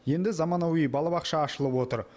енді заманауи балабақша ашылып отыр